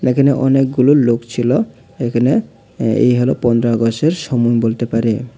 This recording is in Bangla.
এখানে অনেকগুলো লোক ছিল এখানে এই হলো পন্দ্রা আগসের সমন বলতে পারে।